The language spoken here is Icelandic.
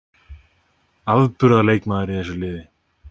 Afburðar leikmaður í þessu liði.